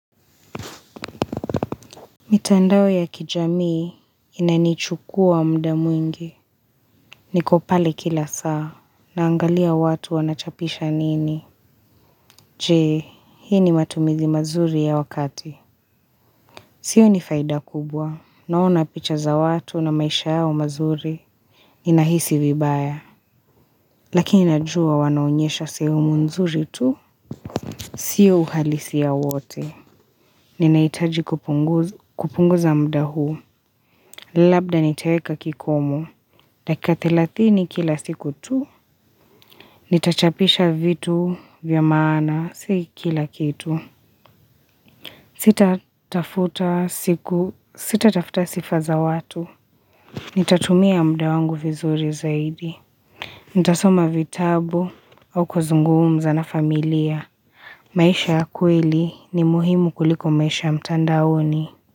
Mitandawe ya kijamii, inanichukua mda mwingi. Niko pale kila saa, naangalia watu wanachapisha nini. Je, hii ni matumizi mazuri ya wakati. Sioni faida kubwa, naona picha za watu na maisha yao mazuri. Ninahisi vibaya, lakini najua wanaonyesha sehemu nzuri tu. Sio uhalisi ya wote. Ninaitaji kupunguza mda huu. Labda niteweka kikomu. Dakika telatini kila siku tu. Nitachapisha vitu vya maana siki kila kitu. Sita tafuta siku, sita tafuta sifa za watu. Nitatumia mda wangu vizuri zaidi. Nitasoma vitabu au kuzunguumza na familia. Maisha ya kweli ni muhimu kuliko maisha ya mtandaoni.